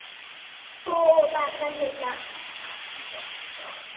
हो तात्मा झुलला